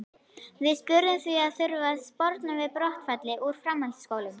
Við spurðum því, þarf að sporna við brottfalli úr framhaldsskólum?